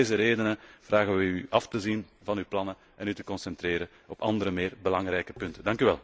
Om al deze redenen vragen wij u af te zien van uw plannen en u te concentreren op andere, meer belangrijke punten.